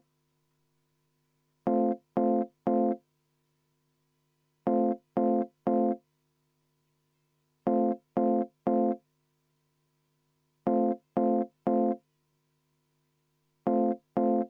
Tulemusega poolt 39 ja vastu 1 leidis ettepanek toetust.